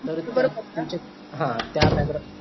तर तुमचे त्या background